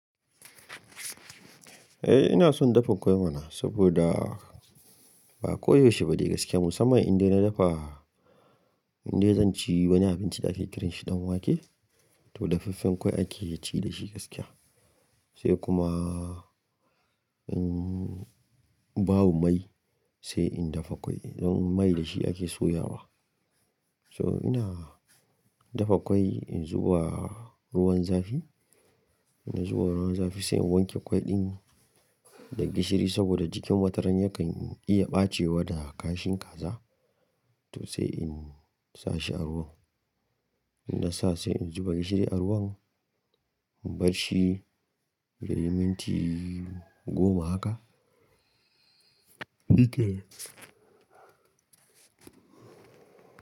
Eh ina son dafa kwai mana, saboda ba koyaushe ba dai gaskiya musamman inda na dafa, inda zan ci wani abinci da ake kiranshi ɗan wake to dafaffen kwai ake ci dashi gaskiya. Sai kuma in babu mai sai in dafa kwai, don mai dashi ake soyawa. So ina dafa kwai in zuwa ruwan zafi, ina zuwa ruwan zafi sai in wanke kwai ɗin da gishiri saboda jikin mataranya kan iya ɓacewa da kashin kaza to sai in sa shi a ruwan. Ina sa sai in zuba gishiri a ruwan, in barshi da minti goma haka.